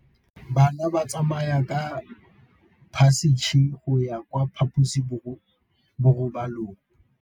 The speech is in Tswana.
Bana ba tsamaya ka phašitshe go ya kwa phaposiborobalong.